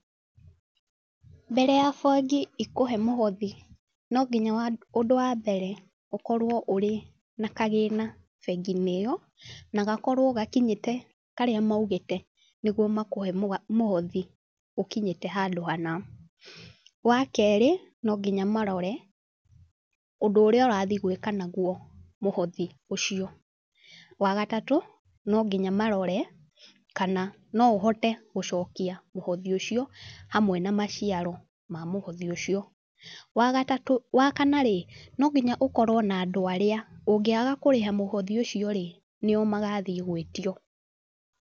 Mbere ya bengi ĩkũhe mũhothi, no nginya ũndũ wambere ũkorwo ũrĩ na kagĩna bengi-inĩ ĩyo, na gakorwo gakinyĩte karĩa maugĩte nĩguo makũhe mũhothi ũkinyĩte handũ hana. Wakerĩ no nginya marore, ũndũ ũrĩa ũrathiĩ gwĩka naguo mũhothi ũcio. Wagatatũ no nginya marore, kana no ũhote gũcokia mũhothi ucio hamwe na maciaro ma mũhothi ũcio. Wa gatatũ , wa kana rĩ, no nginya ũkorwo na andũ arĩa, ũngĩaga kũrĩha mũhothi ũcio rĩ nio magathiĩ gwĩtio